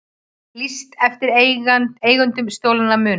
Lýst eftir eigendum stolinna muna